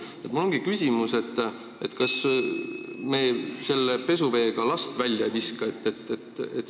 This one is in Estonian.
Mul ongi selline küsimus: kas me selle pesuveega last välja ei viska?